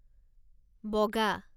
বগা